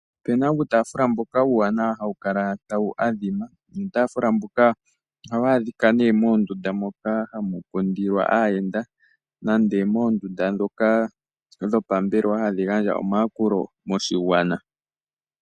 Opu na uutaafula mboka uuwanawa hawu kala tawu adhima nuutaafula mbuka ohawu adhika moondunda moka hamu kundilwa aayenda nenge moombelewa ndhoka hadhi gandja omayakulo moshigwana.